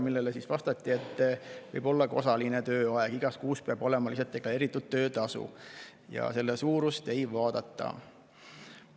vastati, et võib olla osaline tööaeg, igas kuus peab olema deklareeritud töötasu, aga selle suurust ei vaadata.